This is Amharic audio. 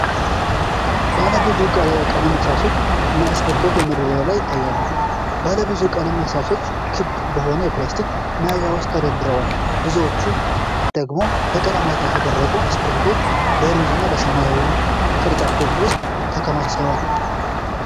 ባለ ብዙ ቀለም እርሳሶች እና እስክሪብቶዎች በመደርደሪያ ላይ ይታያሉ። ባለብዙ ቀለም እርሳሶች ክብ በሆነ የፕላስቲክ መያዣ ውስጥ ተደርድረዋል። በዙሪያቸው ደግሞ በቀለማት ያሸበረቁ እስክሪብቶዎች በሮዝ እና ሰማያዊ ቅርጫቶች ውስጥ ተከማችተዋል።